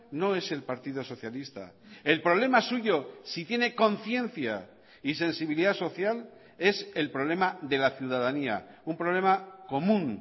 no es el partido socialista el problema suyo si tiene conciencia y sensibilidad social es el problema de la ciudadanía un problema común